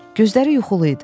Gözləri yuxulu idi.